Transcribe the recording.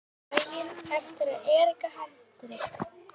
Daginn eftir að Erika Hendrik